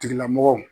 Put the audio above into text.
Tigilamɔgɔw